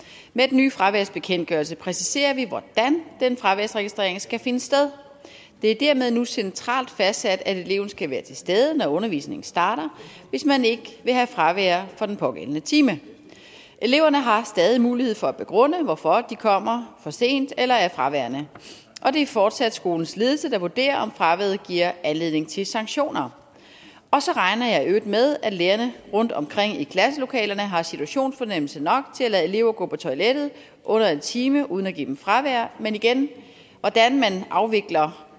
med den nye fraværsbekendtgørelse præciserer vi hvordan den fraværsregistrering skal finde sted det er dermed nu centralt fastsat at eleven skal være til stede når undervisningen starter hvis man ikke vil have fravær for den pågældende time eleverne har stadig mulighed for at begrunde hvorfor de kommer for sent eller er fraværende og det er fortsat skolens ledelse der vurderer om fraværet giver anledning til sanktioner og så regner jeg i øvrigt med at lærerne rundtomkring i klasselokalerne har situationsfornemmelse nok til at lade elever gå på toilettet under en time uden at give dem fravær men igen hvordan man afvikler